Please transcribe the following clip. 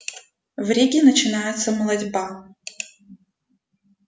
в риге начинается молотьба